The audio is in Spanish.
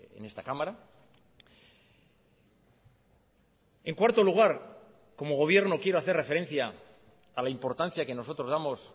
en esta cámara en cuarto lugar como gobierno quiero hacer referencia a la importancia que nosotros damos